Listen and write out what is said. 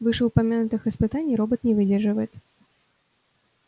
вышеупомянутых испытаний робот не выдерживает